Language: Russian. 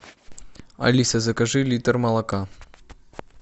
алиса закажи литр молока